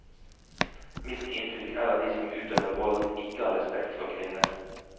Mitt inntrykk er at de som utøver vold, ikke har respekt for kvinner.